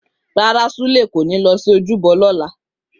Rárá, Sule kò ní lọ sí ojúbọ lọ́la.